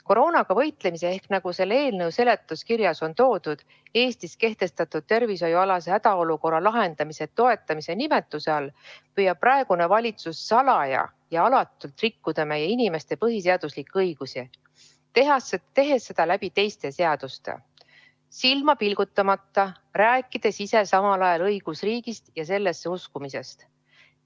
Koroonaga võitlemise ehk nagu eelnõu seletuskirjas on toodud, Eestis kehtestatud tervishoiualase hädaolukorra lahendamise toetamise nimetuse all püüab praegune valitsus salaja ja alatult rikkuda meie inimeste põhiseaduslikke õigusi, tehes seda teiste seaduste kaudu, rääkides silma pilgutamata samal ajal õigusriigist ja sellesse uskumisest.